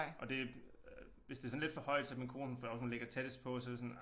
Og det øh hvis det sådan lidt for højt så min kone hun for hun ligger tættest på så det sådan